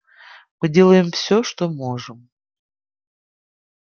мы делаем всё что можем